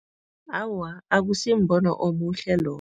Awa, akusimbono omuhle lowo.